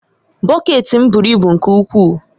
Bọket m buru ibu nke ukwuu